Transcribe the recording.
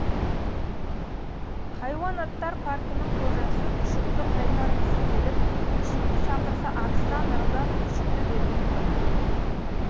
хайуанаттар паркінің қожасы күшікті қайтарғысы келіп күшікті шақырса арыстан ырылдап күшікті бермей қойыпты